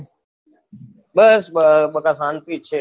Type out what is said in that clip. બસ બસ બકા સાંતી જ છે